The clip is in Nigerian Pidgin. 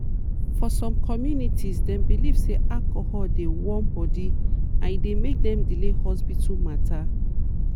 for some communities dem believe say alcohol dey warm body and e dey make dem delay hospital matter.